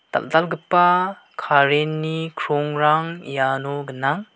dal·dalgipa current-ni krongrang iano gnang.